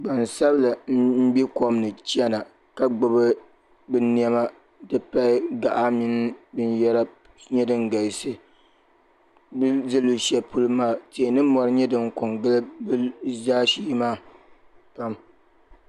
Gbansabila m-be kom ni chana ka gbubi bɛ nɛma nti pahi gaɣa mini binyɛra nyɛ din galisi bɛ ni be luɣushɛli polo maa tihi ni mɔri nyɛ din ko n-gili bɛ zaashee maa pam.